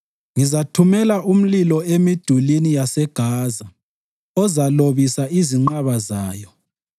ngizathumela umlilo emidulini yaseGaza ozalobisa izinqaba zayo.